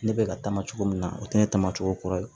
Ne bɛ ka taama cogo min na o tɛ ne tama o kɔrɔ ye